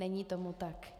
Není tomu tak.